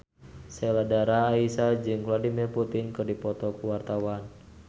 Sheila Dara Aisha jeung Vladimir Putin keur dipoto ku wartawan